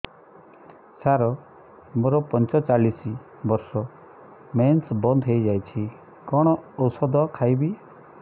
ସାର ମୋର ପଞ୍ଚଚାଳିଶି ବର୍ଷ ମେନ୍ସେସ ବନ୍ଦ ହେଇଯାଇଛି କଣ ଓଷଦ ଖାଇବି